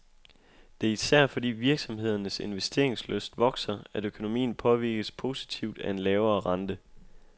Det er især fordi virksomhedernes investeringslyst vokser, at økonomien påvirkes positivt af en lavere rente.